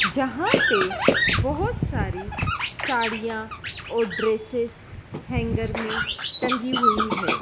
जहां पे बहोत सारी साड़ियां और ड्रेसेस हैंगर में टंगी हुई है।